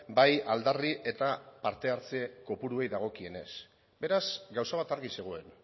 bai aldarri eta parte hartze kopuruei dagokienez beraz gauza bat argi zegoen